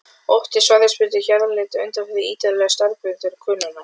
Oft er svæðisbundin jarðhitaleit undanfari ítarlegri staðbundinnar könnunar.